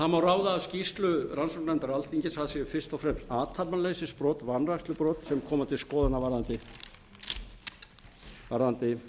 það má ráða af skýrslu rannsóknarnefndar alþingis að það séu fyrst og fremst athafnaleysisbrot sem komi til skoðunar varðandi